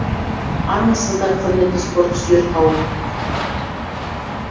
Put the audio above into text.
армысыздар құрметті спорт сүйер қауым